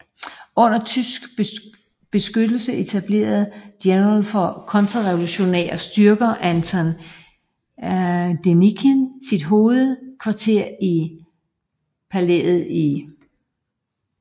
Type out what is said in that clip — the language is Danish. Under tysk beskyttelse etablerede General for de kontrarevolutionære styrker Anton Denikin sit hovedkvarter i Avgerino palæet i Taganrog